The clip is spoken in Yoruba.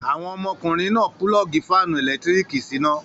Àwọn ọmọkùnrin náà pulọ́ọ́gì fáánù ẹ̀lẹ́tíríkì síná.